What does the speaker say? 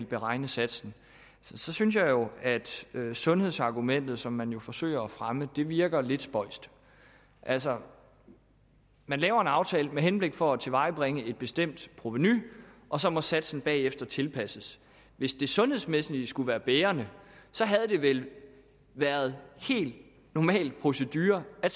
beregne satsen så synes jeg jo at sundhedsargumentet som man jo forsøger at fremme virker lidt spøjst altså man laver en aftale for at tilvejebringe et bestemt provenu og så må satsen bagefter tilpasses hvis det sundhedsmæssige skulle være bærende havde det vel været helt normal procedure at